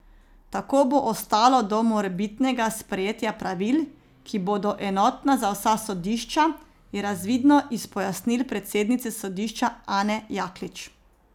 Tako bo ostalo do morebitnega sprejetja pravil, ki bodo enotna za vsa sodišča, je razvidno iz pojasnil predsednice sodišča Ane Jaklič.